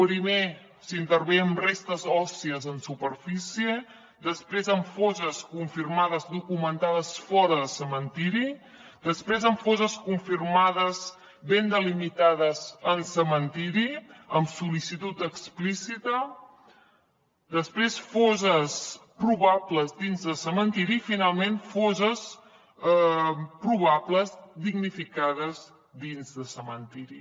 primer s’intervé amb restes òssies en superfície després en fosses confirmades documentades fora de cementiri després en fosses confirmades ben delimitades en cementiri amb sol·licitud explícita després fosses probables dins de cementiri i finalment fosses probables damnificades dins de cementiri